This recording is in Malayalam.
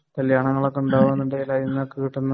കല്യാണങ്ങളൊക്കെ ഉണ്ടോ